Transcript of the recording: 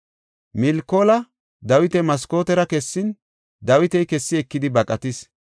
Milkoola Dawita maskootera kessin, Dawiti kessi ekidi baqatis.